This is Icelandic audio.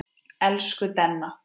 Elsku Denna.